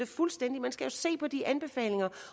fuldstændig man skal se på de anbefalinger